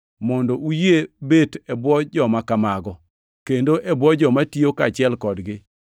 mondo uyie bet e bwo joma kamago, kendo e bwo joma tiyo kaachiel kodgi.